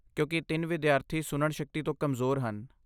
ਕਿਉਂਕਿ ਤਿੰਨ ਵਿਦਿਆਰਥੀ ਸੁਣਨ ਸ਼ਕਤੀ ਤੋਂ ਕਮਜ਼ੋਰ ਹਨ।